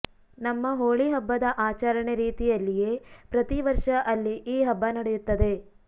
ನಮ್ಮ ಹೋಳಿ ಹಬ್ಬದ ಆಚರಣೆ ರೀತಿಯಲ್ಲಿಯೇ ಪ್ರತಿ ವರ್ಷ ಅಲ್ಲಿ ಈ ಹಬ್ಬ ನಡೆಯುತ್ತದೆ